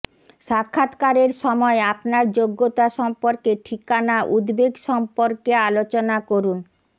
সাক্ষাত্কারের সময় আপনার যোগ্যতা সম্পর্কে ঠিকানা উদ্বেগ সম্পর্কে আলোচনা করুন